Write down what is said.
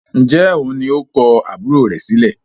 ǹjẹ́ òun ni ó kọ àbúrò rẹ̀ sílẹ̀?